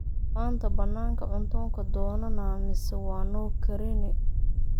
maanta bannaanka cunta kadoonnaa mise waa noo karine